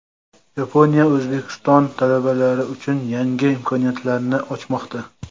Yaponiya O‘zbekiston talabalari uchun yangi imkoniyatlarni ochmoqda!.